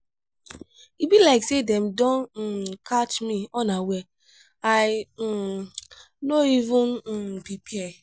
e be like say dem don um catch me unaware i um no even um prepare.